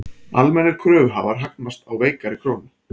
Almennir kröfuhafar hagnast á veikari krónu